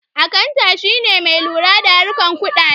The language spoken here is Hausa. Akanta shine mai lura da harkan kudade